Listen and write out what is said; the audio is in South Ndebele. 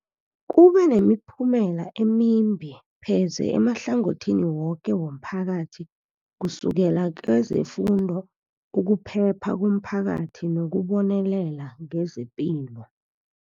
Kube nemiphumela emimbi pheze emahlangothini woke womphakathi, kusukela kezefundo, ukuphepha komphakathi nokubonelela ngezepilo.